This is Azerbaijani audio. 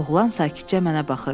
Oğlan sakitcə mənə baxırdı.